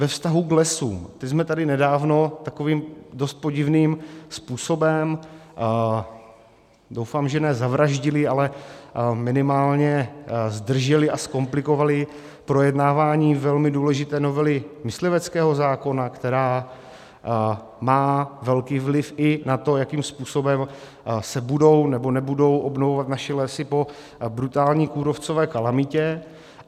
Ve vztahu k lesům - ty jsme tady nedávno takovým dost podivným způsobem - doufám že ne zavraždili, ale minimálně zdrželi a zkomplikovali projednávání velmi důležité novely mysliveckého zákona, která má velký vliv i na to, jakým způsobem se budou nebo nebudou obnovovat naše lesy po brutální kůrovcové kalamitě.